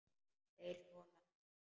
Þeir þola hann ekki.